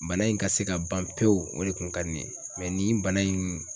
Bana in ka se ka ban pewu o de kun ka di ne ye mɛ nin bana in